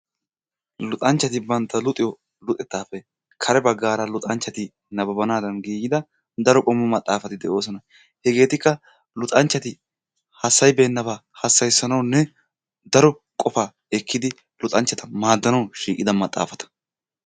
Luxanchcati bantta luxiyo luxettaappe kare baggaara luxanchchati nababbanadan giigida daro qommo maxaafati de'oosona. Hegeetikka luxanchchati hassayibeenaba hassayiisanawunne daro qofa ekkidi luxanchchata maaddanaw shiiqida maxaafata.